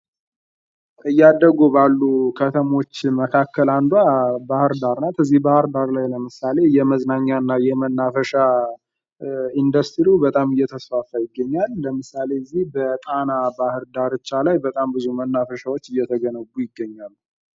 እያደጉ ባሉ ከተሞች መካከል አንዷ ባህርዳር ናት በዚህ ባህርዳር ላይ ለምሳሌ የመዝናኛና የመናፈሻ ኢንዱስትሪው በጣም እየተስፋፋ ይገኛል ለምሳሌ በዚህ በጣና ባህር ዳርቻ ላይ በጣም ብዙ መናፈሻዎች እየተገነቡ ይገኛሉ።